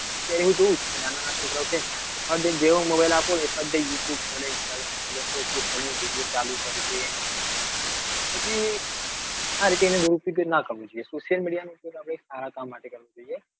નાના છોકરા કેવા ફટ દઈ ને જેવો mobile આપો એ ફટ દઈને youtube ખોલે instagram ખોલે facebook ખોલે video ચાલુ કરશે. પછી આ રીતે ના થવો જોઈએ social media નું કામ સારા કામ માટે કરવું જોઈએ.